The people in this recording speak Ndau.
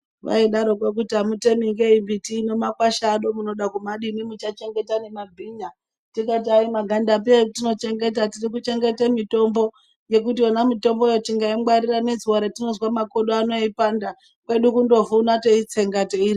Vaidaroko kuti amutemi ngei mbiti ino nemakwasha ano munoda kumadini muchachengeta nemabhinya tikati ayi magandangapi atinochengeta tirikuchengeta mitombo ngekuti yona mitomboyo tingaingwarira nezuwa ratinozwa makodo ano eipanda kwedu kundovhuna teitsenga teirya.